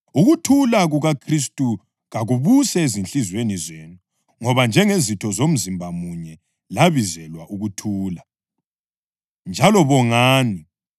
Ukuthula kukaKhristu kakubuse ezinhliziyweni zenu ngoba njengezitho zomzimba munye labizelwa ukuthula. Njalo bongani.